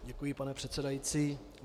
Děkuji, pane předsedající.